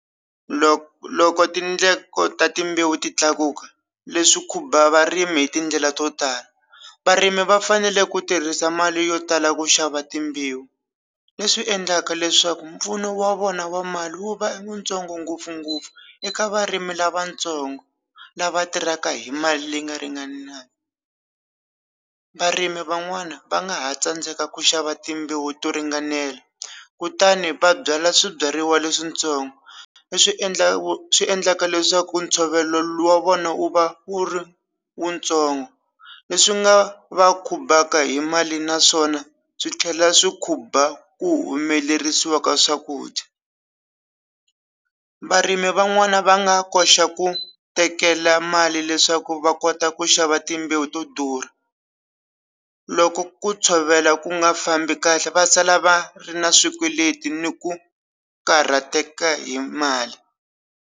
Loko loko tindlela ta timbewu ti tlakuka leswi khumba varimi hi tindlela to tala varimi va fanele ku tirhisa mali yo tala ku xava timbewu leswi endlaka leswaku mpfuno wa vona wa mali wu va wu ntsongo ngopfungopfu eka varimi lavatsongo lava tirhaka hi mali leyi nga ringanaku varimi van'wani va nga ha tsandzeka ku xava timbewu to ringanela kutani va byala swibyariwa leswintsongo leswi endlaka swi endlaka leswaku ntshovelo wa vona wu va wu ri wu ntsongo leswi nga va khumbaka hi mali naswona swi tlhela swi khumba ku humelerisiwa ka swakudya varimi van'wani va nga koxa ku tekela mali leswaku va kota ku xava timbewu to durha loko ku tshovela ku nga fambi kahle va sala va ri na swikweleti ni ku karhateka hi mali.